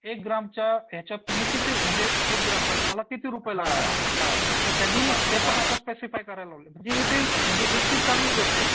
एक ग्रॅमच्या यांच्यात तुम्ही किती म्हणजे एक ग्राम बनवायला तुम्हाला किती रुपये लागले तर त्यांनी ते पण आता स्पेसिफाय करायला लावलंय म्हणजे एक ती चांगली गोष्ट आहे.